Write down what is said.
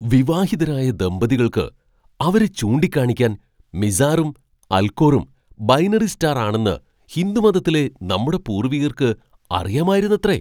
വിവാഹിതരായ ദമ്പതികൾക്ക് അവരെ ചൂണ്ടിക്കാണിക്കാൻ മിസാറും അൽകോറും ബൈനറി സ്റ്റാർ ആണെന്ന് ഹിന്ദു മതത്തിലെ നമ്മുടെ പൂർവ്വികർക്ക് അറിയാമായിരുന്നത്രെ.